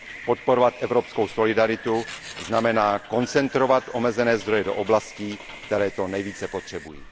Podporovat evropskou solidaritu znamená koncentrovat omezené zdroje do oblastí, které to nejvíce potřebují.